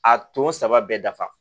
A ton saba bɛɛ dafa